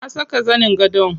Na saka zanin gadon.